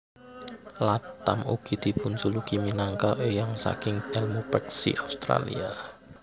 Latham ugi dipunjuluki minangka éyang saking èlmu peksi Australia